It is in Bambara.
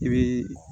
I bii